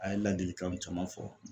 A ye ladilikanw caman fɔ